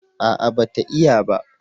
a'a ba ta iya ba